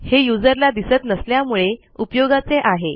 हे युजरला दिसत नसण्यामुळे उपयोगाचे आहे